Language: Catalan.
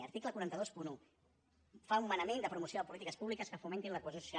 article quatre cents i vint un fa un manament de promoció de polítiques públiques que fomentin la cohesió social